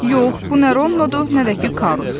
Yox, bu nə Ronnodur, nə də ki Karus.